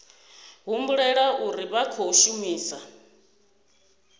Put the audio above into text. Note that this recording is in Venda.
humbulela uri vha khou shumisa